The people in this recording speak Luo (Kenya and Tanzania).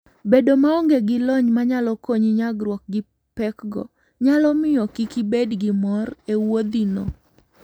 Bedo maonge gi lony manyalo konyi nyagruok gi pekgo, nyalo miyo kik ibed gi mor e wuodhino.